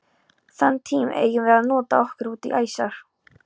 Þann tíma eigum við að nota okkur útí æsar.